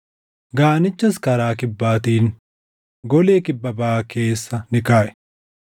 Gaanichas karaa kibbaatiin golee kibba baʼaa keessa ni kaaʼe.